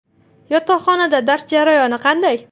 Yotoqxonada dars jarayoni qanday?